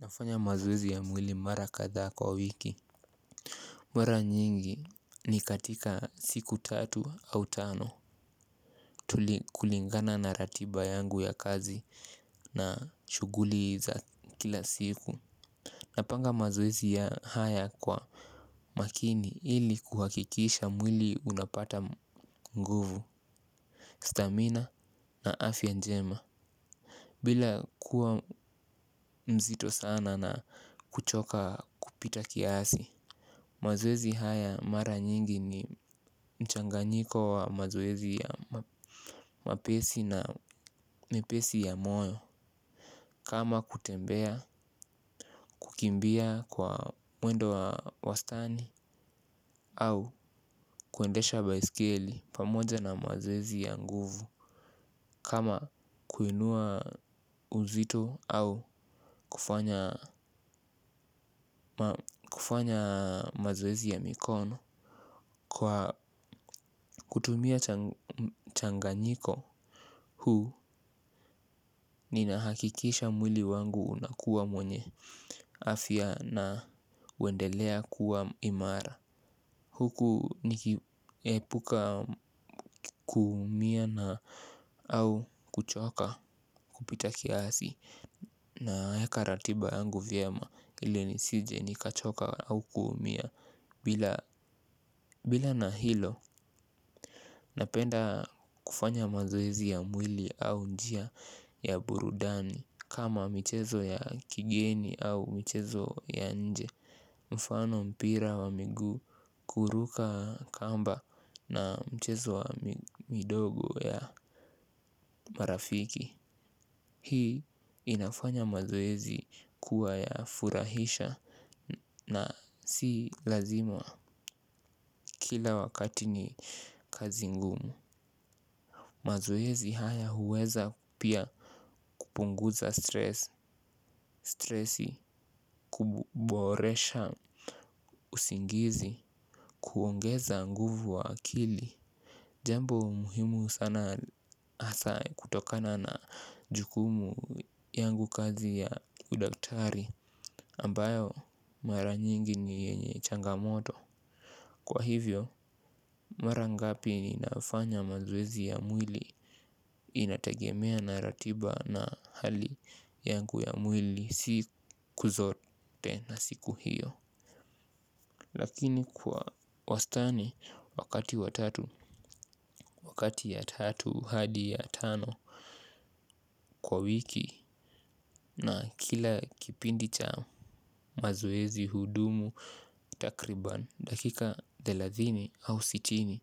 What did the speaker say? Nafanya mazoezi ya mwili mara kadhaa kwa wiki. Mara nyingi ni katika siku tatu au tano. Tulikulingana na ratiba yangu ya kazi na shughuli za kila siku. Napanga mazoezi ya haya kwa makini ili kuhakikisha mwili unapata nguvu Stamina na afya njema bila kuwa mzito sana na kuchoka kupita kiasi. Mazoezi haya mara nyingi ni mchanganyiko wa mazoezi ya mepesi na mepesi ya moyo. Kama kutembea, kukimbia kwa mwendo wa wastani. Au kuendesha baiskeli pamoja na mazoezi ya nguvu. Kama kuinua uzito au kufanya mazoezi ya mikono. Kwa kutumia mchanganyiko huu ninahakikisha mwili wangu unakuwa mwenye afya na huendelea kuwa imara. Huku nikiepuka kuumia na au kuchoka kupita kiasi. Naweka ratiba yangu vyema ili nisije nikachoka au kuumia. Bila na hilo napenda kufanya mazoezi ya mwili au njia ya burudani kama mchezo ya kigeni au mchezo ya nje. Mfano mpira wa miguu, kuruka kamba na mchezo wa midogo ya marafiki. Hii inafanya mazoezi kuwa ya furahisha. Na si lazima kila wakati ni kazi ngumu. Mazoezi haya huweza pia kupunguza stress. Kuboresha usingizi kuongeza nguvu wa akili. Jambo muhimu sana hasa kutokana na jukumu yangu kazi ya udaktari ambayo mara nyingi ni yenye changamoto. Kwa hivyo mara ngapi inafanya mazoezi ya mwili inatagemea na ratiba na hali yangu ya mwili siku zote na siku hiyo. Lakini kwa wastani wakati watatu wakati ya tatu hadi ya tano kwa wiki na kila kipindi cha mazoezi hudumu takriban dakika thelathini au sitini.